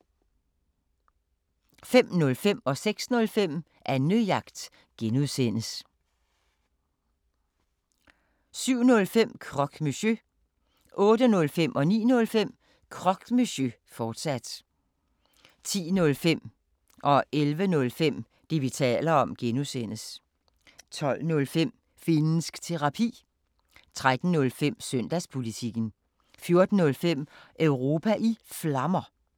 05:05: Annejagt (G) 06:05: Annejagt (G) 07:05: Croque Monsieur 08:05: Croque Monsieur, fortsat 09:05: Croque Monsieur, fortsat 10:05: Det, vi taler om (G) 11:05: Det, vi taler om (G) 12:05: Finnsk Terapi 13:05: Søndagspolitikken 14:05: Europa i Flammer